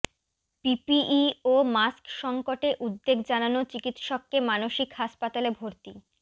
PPE ও mask সংকটে উদ্বেগ জানানো চিকিৎসককে মানসিক হাসপাতালে ভর্তি